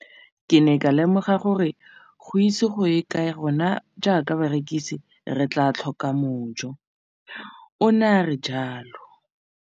Ke ne ka lemoga gore go ise go ye kae rona jaaka barekise re tla tlhoka mojo, o ne a re jalo.